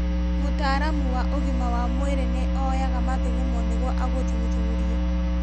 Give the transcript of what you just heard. Mũtaalamu wa ũgima wa mwĩrĩ nĩ oyaga mathugumo nĩguo agathuthurie